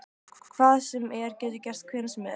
Hvað sem er getur gerst hvenær sem er.